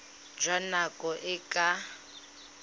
jwa nako e e ka